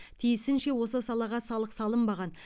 тиісінше осы салаға салық салынбаған